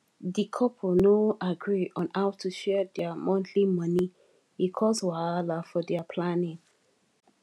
di couple no agree on how to share their monthly money e cause wahala for their planning